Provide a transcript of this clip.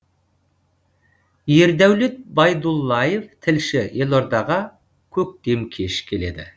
ердәулет байдуллаев тілші елордаға көктем кеш келеді